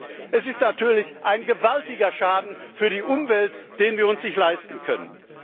Und es ist natürlich ein gewaltiger Schaden für die Umwelt, den wir uns nicht leisten können.